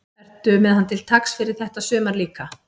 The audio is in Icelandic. Ertu með hann til taks fyrir þetta sumar líka?